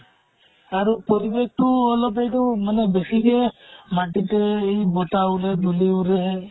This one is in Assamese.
আৰু পৰিবেশ্টো অলপ সেইটো মানে বেছিকে মাটিতে এই বতাহ উৰে, ধুলি উৰে